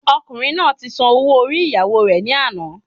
Ọkùnrin náà ti san ọwọ orí ìyàwó rè ní àná